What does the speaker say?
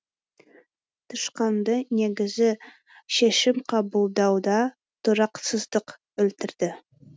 тышқанды негізі шешім қабылдауда тұрақсыздық өлтірді